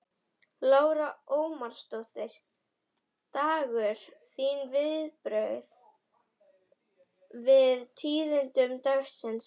Lára Ómarsdóttir: Dagur, þín viðbrögð við tíðindum dagsins?